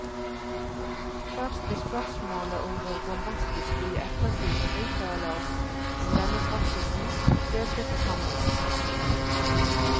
Først ved spørsmålet om hvor bombastisk vi i ettertid kan uttale oss om denne praksisen, delte forsamlingen seg.